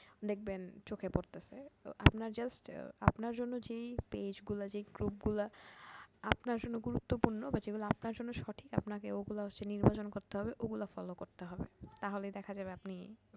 দেখবেন চোখে পড়তেছে, আপনার just আপনার জন্য যে page গুলা যে group গুলা আপনার জন্য গুরুত্বপূর্ণ বা যেগুলা আপনার জন্য সঠিক আপনাকে ওগুলা হচ্ছে নির্বাচন করতে হবে, ওগুলা follow করতে হবে